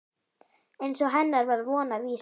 Eins og hennar var von og vísa.